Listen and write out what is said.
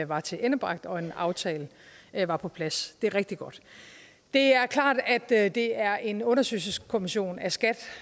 var tilendebragt og en aftale var på plads det er rigtig godt det er klart at det er en undersøgelseskommission af skat